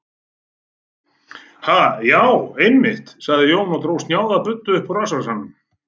Ha, já, einmitt, sagði Jón og dró snjáða buddu upp úr rassvasanum.